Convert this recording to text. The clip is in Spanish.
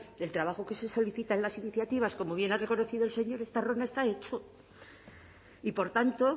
del trabajo que se solicita en las iniciativas como bien ha reconocido el señor estarrona está hecho y por tanto